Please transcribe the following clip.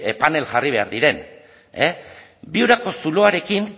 panel jarri behar diren viurako zuloarekin